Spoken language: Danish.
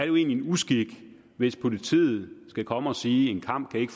jo egentlig en uskik hvis politiet skal komme og sige at en kamp ikke